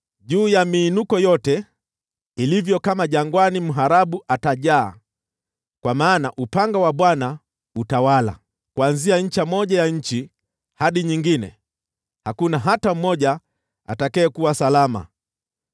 Juu ya miinuko yote ilivyo kama jangwani mharabu atajaa, kwa maana upanga wa Bwana utawala, kuanzia ncha moja ya nchi hadi nyingine; hakuna hata mmoja atakayekuwa salama.